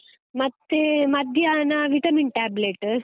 ಮತ್ತೇ, ಮಧ್ಯಾಹ್ನ vitamin tablet .